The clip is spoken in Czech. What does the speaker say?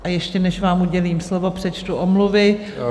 A ještě než vám udělím slovo, přečtu omluvy.